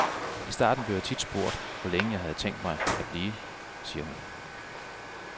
I starten blev jeg tit spurgt, hvor længe jeg havde tænkt mig at blive, siger hun.